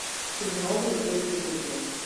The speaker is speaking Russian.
чернобыль первый сезон